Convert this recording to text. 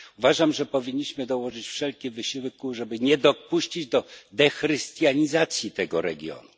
Uważam, że powinniśmy dołożyć wszelkich starań, żeby nie dopuścić do dechrystianizacji tego regionu.